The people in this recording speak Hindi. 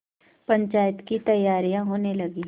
पंचायत की तैयारियाँ होने लगीं